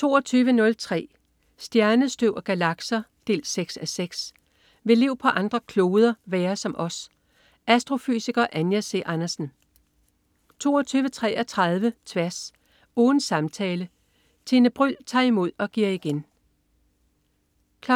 22.03 Stjernestøv og galakser 6:6. Vil liv på andre kloder være som os? Astrofysiker Anja C. Andersen 22.33 Tværs. Ugens samtale. Tine Bryld tager imod og giver igen 23.00